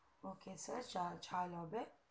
ok sir ঝাল হবে